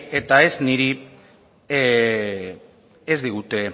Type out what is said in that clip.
eta ez niri ez digute